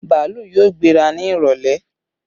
Bàálù yóò gbéra ni ìrọ̀lẹ́